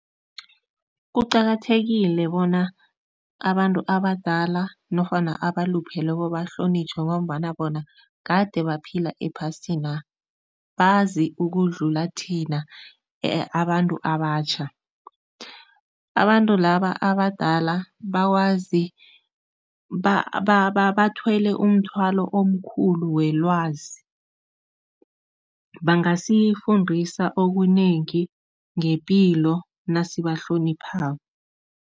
Kuqakathekile bona abantu abadala nofana abalupheleko bahlonitjhwe ngombana bona kade baphila ephasina, bazi ukudlula thina abantu abatjha. Abantu laba abadala bakwazi bathwele umthwalo omkhulu welwazi, bangasifundisa okunengi ngepilo nasibahloniphako.